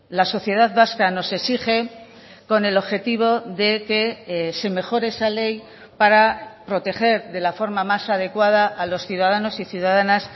la sociedad vasca nos exige con el objetivo de que se mejore esa ley para proteger de la forma más adecuada a los ciudadanos y ciudadanas